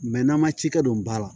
n'an man ci kɛ don ba la